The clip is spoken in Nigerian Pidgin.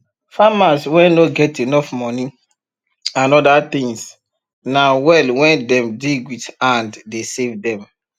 farmers wen nor get enough money and other things na well wen dem dig with hand dey save dem